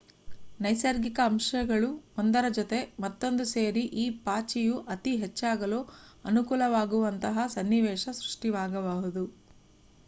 ನೈಸರ್ಗಿಕ ಅಂಶಗಳು ಒಂದರ ಜೊತೆ ಮತ್ತೊಂದು ಸೇರಿ ಈ ಪಾಚಿಯು ಅತಿ ಹೆಚ್ಚಾಗಲು ಅನುಕೂಲವಾಗುವಂತಹ ಸನ್ನಿವೇಶ ಸೃಷ್ಟಿಯಾಗಬಹುದು